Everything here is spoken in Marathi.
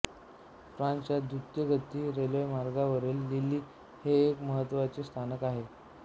फ्रान्सच्या दृतगती रेल्वेमार्गांवरील लील हे एक महत्त्वाचे स्थानक आहे